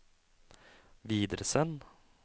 videresend